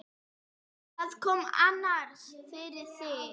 Hvað kom annars fyrir þig?